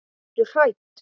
Ertu hrædd?